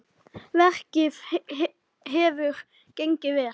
Verkið hefur gengið vel.